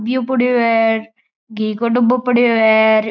दियो पड़यो है घी काे डब्बाे पड़यो है।